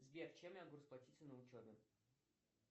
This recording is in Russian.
сбер чем я могу расплатиться на учебе